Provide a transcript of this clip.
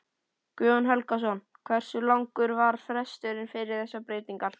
Guðjón Helgason: Hversu langur var fresturinn fyrir þessar breytingar?